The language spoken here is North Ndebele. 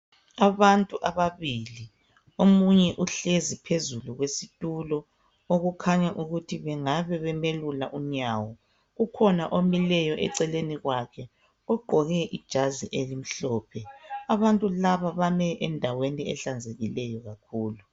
Abantu ababili omunye uhlezi phezulu kwesitulo okukhanya ukuthi bengabe bemelula unyawo ,kukhona omileyo eceleni kwakhe ogqoke ijazi elimhlophe. Abantu laba bame endaweni ehlanzekileyo kakhulu